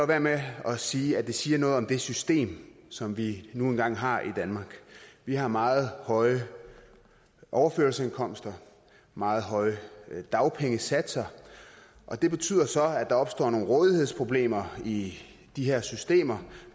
være med at sige at det siger noget om det system som vi nu engang har i danmark vi har meget høje overførselsindkomster meget høje dagpengesatser og det betyder så at der opstår nogle rådighedsproblemer i de her systemer